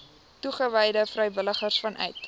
toegewyde vrywilligers vanuit